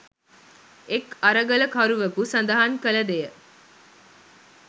එක් අරගලකරුවකු සඳහන් කළ දෙය